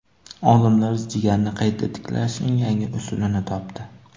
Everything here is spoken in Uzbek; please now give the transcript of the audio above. Olimlar jigarni qayta tiklashning yangi usulini topdi.